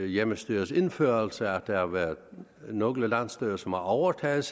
hjemmestyrets indførelse at der har været nogle landsstyrer som har overtaget